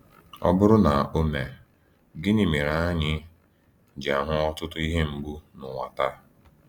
Ọ bụrụ na o mee, gịnị mere anyị ji ahụ ọtụtụ ihe mgbu n’ụwa taa?